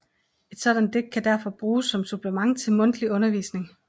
Et sådant digt derfor kan bruges som supplement til mundtlig undervisning